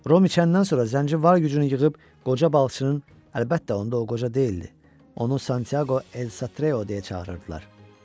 Rom içəndən sonra zənci var gücünü yığıb qoca balıçının, əlbəttə onda o qoca deyildi, onun Santyaqo El Satreo deyə çağırırdılar.